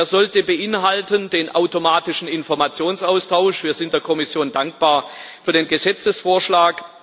Der sollte beinhalten den automatischen Informationsaustausch wir sind der Kommission dankbar für den Gesetzesvorschlag.